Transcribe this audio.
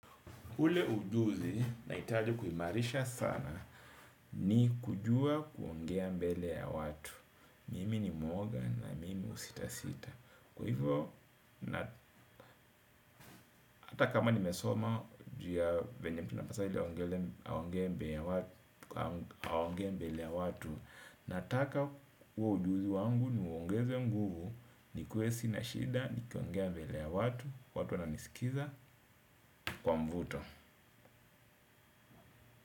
Ule ujuzi, nahitaji kuhimarisha sana, ni kujua kuongea mbele ya watu. Mimi ni mwoga na mimi husita sita. Kwa hivyo, hata kama nimesoma juuya venye mtu anapaswa aongee mbele ya watu. Nataka huo ujuzi wangu ni uongeze nguvu ni kue sina shida nikiongea mbele ya watu. Watu wananisikiliza kwa mvuto.